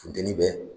Funteni bɛ